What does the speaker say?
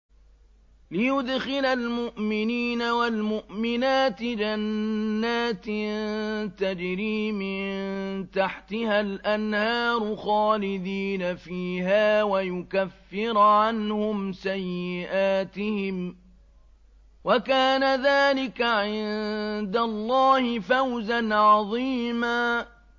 لِّيُدْخِلَ الْمُؤْمِنِينَ وَالْمُؤْمِنَاتِ جَنَّاتٍ تَجْرِي مِن تَحْتِهَا الْأَنْهَارُ خَالِدِينَ فِيهَا وَيُكَفِّرَ عَنْهُمْ سَيِّئَاتِهِمْ ۚ وَكَانَ ذَٰلِكَ عِندَ اللَّهِ فَوْزًا عَظِيمًا